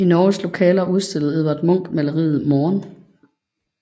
I Norges lokaler udstillede Edvard Munch maleriet Morgen